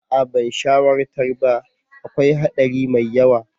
Aa ban shawartar ba, akwai haɗari mai yawa.